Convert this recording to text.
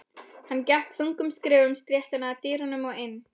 Hann gekk þungum skrefum stéttina að dyrunum og inn.